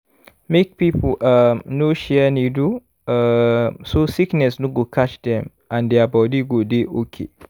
make people um no share needle um so sickness no go catch dem and their body go dey okay